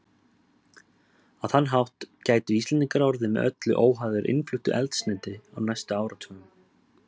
Á þann hátt gætu Íslendingar orðið með öllu óháðir innfluttu eldsneyti á næstu áratugum.